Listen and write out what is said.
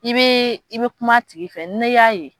I bɛ i bɛ kuma a tigi fɛ n'i y'a ye